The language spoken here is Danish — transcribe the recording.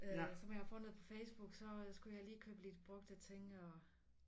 Øh som jeg har fundet på Facebook så skulle lige købe lidt brugte ting og